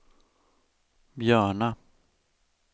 Björna